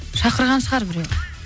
шақырған шығар біреу